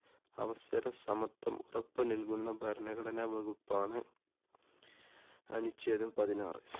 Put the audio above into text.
അവസര സമത്വം ഉറപ്പു നല്കുന്ന ഭരണഘടന വകുപ്പാണ്. അനുഛേദം പതിനാറ്.